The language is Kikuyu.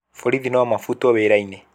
Borithi no mabutwo wĩra-inĩ